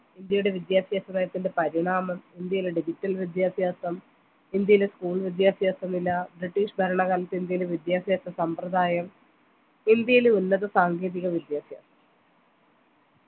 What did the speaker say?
ഇന്ത്യയുടെ വിദ്യാഭ്യാസ നയത്തിൻ്റെ പരിണാമം ഇന്ത്യയിലെ digital വിദ്യാഭ്യാസം ഇന്ത്യയിലെ school വിദ്യാഭ്യാസ നില british ഭരണക്കാലത്തെ ഇന്ത്യയിലെ വിദ്യാഭ്യാസ സമ്പ്രദായം എന്തേലും ഉന്നത സാങ്കേതിക വിദ്യാഭ്യാസം